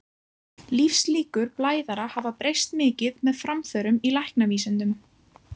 Lífslíkur blæðara hafa breyst mikið með framförum í læknavísindum.